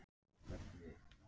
Undir því stöndum við ekki